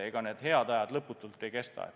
Ega head ajad lõputult ei kesta.